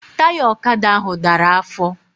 Taya ọkada ahụ dara afọ